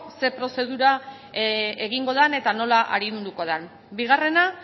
zer prozedura egingo den eta nola arinduko den bigarrena